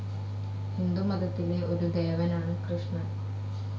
ഹിന്ദുമതത്തിലെ ഒരു ദേവനാണ് കൃഷ്ണൻ.